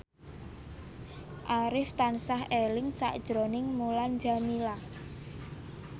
Arif tansah eling sakjroning Mulan Jameela